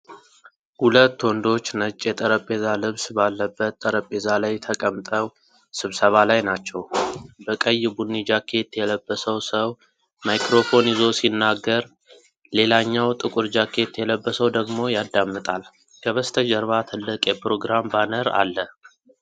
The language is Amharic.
ሁለት ወንዶች ነጭ የጠረጴዛ ልብስ ባለበት ጠረጴዛ ላይ ተቀምጠው ስብሰባ ላይ ናቸው። በቀይ ቡኒ ጃኬት የለበሰው ሰው ማይክሮፎን ይዞ ሲናገር፣ ሌላኛው ጥቁር ጃኬት የለበሰው ደግሞ ያደምጣል። ከበስተጀርባ ትልቅ የፕሮግራም ባነር አለ።